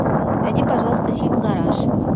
найди пожалуйста фильм гараж